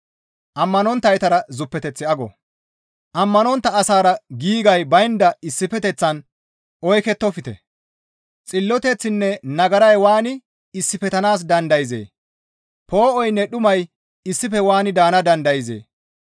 Ammanontta asara giigay baynda issifeteththan oykettofte; xilloteththinne nagaray waani issifettanaas dandayzee? Poo7oynne dhumay issife waani daana dandayzee?